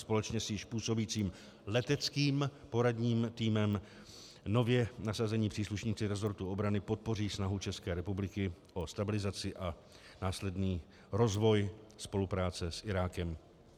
Společně s již působícím leteckým poradním týmem nově nasazení příslušníci rezortu obrany podpoří snahu České republiky o stabilizaci a následný rozvoj spolupráce s Irákem.